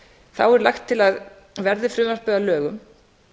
þá er lagt til að verði frumvarpið að lögum